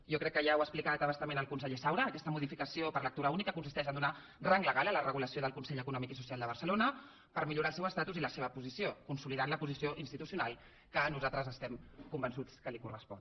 jo crec que ja ho ha explicat a bastament el conseller saura aquesta modificació per lectura única consisteix a donar rang legal a la regulació del consell econòmic i social de barcelona per millorar el seu estatuts i la seva posició consolidant la posició institucional que nosaltres estem convençuts que li correspon